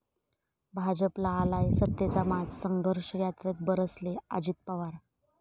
भाजपला आलाय सत्तेचा माज, संघर्ष यात्रेत बरसले अजित पवार